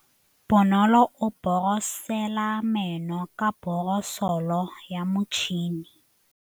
Bonolô o borosola meno ka borosolo ya motšhine.